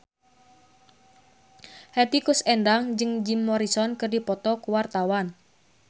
Hetty Koes Endang jeung Jim Morrison keur dipoto ku wartawan